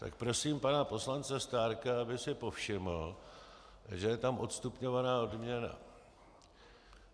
Tak prosím pana poslance Stárka, aby si povšiml, že je tam odstupňovaná odměna.